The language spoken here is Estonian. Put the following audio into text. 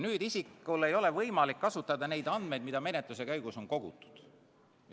Nüüd ei ole isikul aga võimalik kasutada neid andmeid, mida menetluse käigus on kogutud.